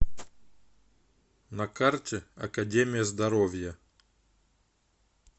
на карте академия здоровья